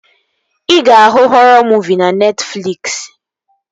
Ị ga-ahụ họrọ muuvi na Netfliksi